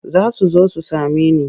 Za su zo su same ni.